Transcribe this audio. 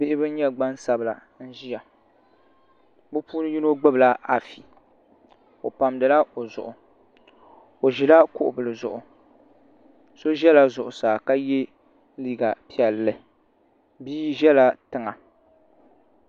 Bihi bin nyɛ gbansabila n ʒiya bi puuni yino gbubila afi o pamdila o zuɣu o ʒila kuɣu bili zuɣu so ʒɛla zuɣu saa ka yɛ liiga piɛlli bia ʒɛla tiŋa